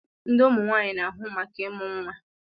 Ndi Ụmụ nwanyị na-ahụ maka ịmụ nwa